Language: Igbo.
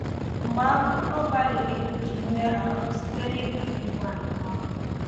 Mgbe ahụ, ọ gbalịrị ikpuchi mmehie ahụ site n’igbu di nwanyị ahụ